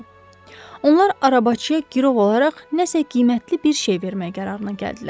Onlar arabaçıya girov olaraq nəsə qiymətli bir şey vermək qərarına gəldilər.